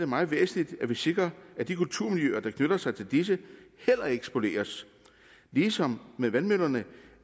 meget væsentligt at vi sikrer at de kulturmiljøer der knytter sig til disse heller ikke spoleres ligesom med vandmøllerne